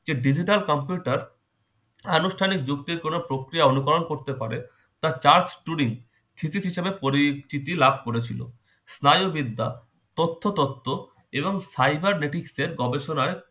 কে digital computer আনুষ্ঠানিক যুক্তির কোন প্রক্রিয়া অনুকরণ করতে পারে তার charge টিউরিং thesis হিসেবে পরিচিতি লাভ করেছিল। স্নায়ুবিদ্যা- তথ্য তত্ত্ব এবং cyber datics এর গবেষণায়